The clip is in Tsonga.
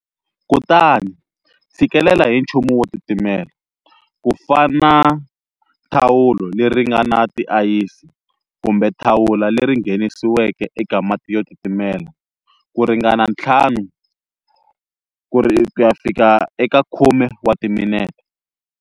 Kutani tshikilela hi nchumu wo titimela, ku fana thahulo leri nga na tiayisi, kumbe thawula leri nghenisiweke eka mati yo titimela, ku ringana 5-10 wa timinete.